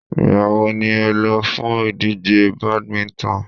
Ìgbà wo ni ẹ lọ fún ìdíje badminton?